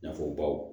Nafabaw